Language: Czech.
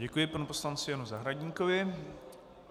Děkuji panu poslanci Janu Zahradníkovi.